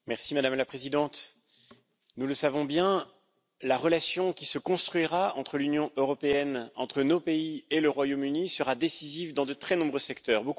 Madame la Présidente, nous le savons bien la relation qui se construira entre l'Union européenne et le Royaume Uni, entre nos pays et le Royaume Uni, sera décisive dans de très nombreux secteurs.